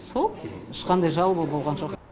сол ешқандай жалоба болған жоқ